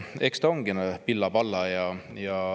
Eks ta ongi pilla-palla.